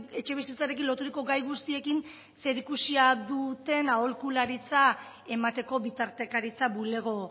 etxebizitzarekin loturiko gai guztiekin zerikusia duten aholkularitza emateko bitartekaritza bulego